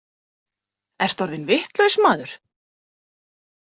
Ertu orðinn vitlaus maður?